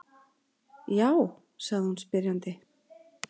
Já? sagði hún spyrjandi.